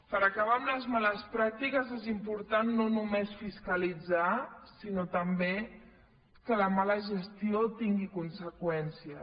per acabar amb les males pràctiques és important no només fiscalitzar sinó també que la mala gestió tingui conseqüències